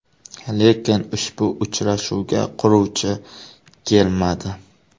Lekin ushbu uchrashuvga quruvchi kelmadi.